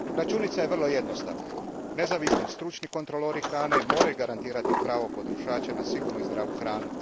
Računica je vrlo jednostavna, nezavisni stručni kontrolori hrane moraju garantirati pravo potrošača na sigurnu i zdravu hranu.